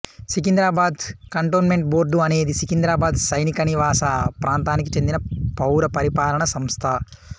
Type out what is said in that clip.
Secunderabad cantonment board అనేది సికింద్రాబాద్ సైనికనివాస ప్రాంతానికి చెందిన పౌర పరిపాలనా సంస్థ